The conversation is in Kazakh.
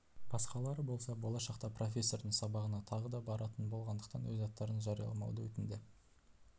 басқалары болса болашақта профессордың сабағына тағы да баратын болғандықтан өз аттарын жарияламауды өтінді